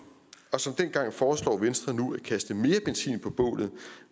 og som dengang foreslår venstre nu at kaste mere benzin på bålet